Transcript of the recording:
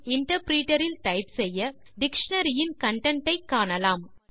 interpreter இல் type செய்ய dictionary யின் கன்டென்ட் ஐ காணலாம்